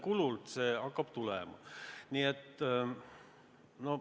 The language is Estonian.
Mille arvel see hakkab tulema.